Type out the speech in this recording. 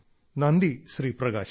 നന്ദി ശ്രീ പ്രകാശ്